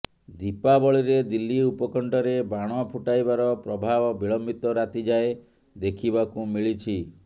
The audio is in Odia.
ଦୀପାବଳିରେ ଦିଲ୍ଲୀ ଉପକଣ୍ଠରେ ବାଣ ଫୁଟାଇବାର ପ୍ରଭାବ ବିଳମ୍ବିତ ରାତି ଯାଏଁ ଦେଖିବାକୁ ମିଳିଛି